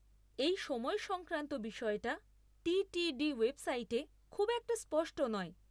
এই সময় সংক্রান্ত বিষয়টা টিটিডি ওয়েবসাইটে খুব একটা স্পষ্ট না।